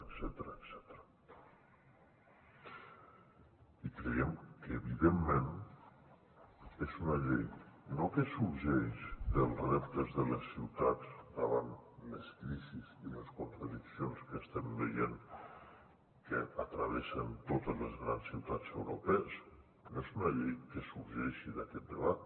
i creiem que evidentment és una llei no que sorgeix dels reptes de les ciutats davant les crisis i les contradiccions que estem veient que travessen totes les grans ciutats europees no és una llei que sorgeixi d’aquest debat